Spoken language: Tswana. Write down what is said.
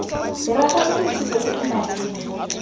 diragatsa ditshupo tse di maleba